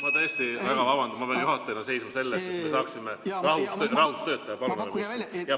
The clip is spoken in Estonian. Ma tõesti väga vabandan, ma pean juhatajana seisma selle eest, et me saaksime rahus töötada.